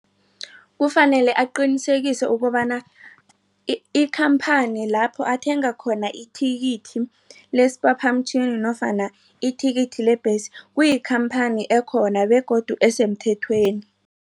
Kufanele aqinisekise ukobana ikhamphani lapho athenga khona ithikithi lesiphaphamtjhini nofana ithikithi lebhesi kuyikhamphani ekhona begodu esemthethweni.